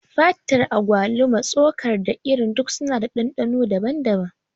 Fatar agwaluma, tsokar, da irin duk suna da ɗanɗano daban-daban.